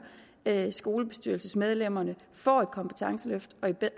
at skolebestyrelsesmedlemmerne får et kompetenceløft og i